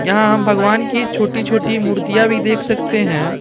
यहां हम भगवान की छोटी छोटी मूर्तियां भी देख सकते हैं।